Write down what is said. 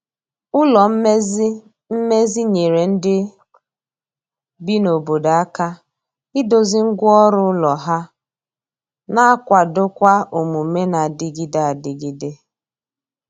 ụlọ mmezi mmezi nyere ndi bi na obodo aka ịdozi ngwa ọrụ ụlọ ha na akwado kwa omume na adigide adigide